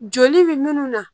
Joli bɛ munnu na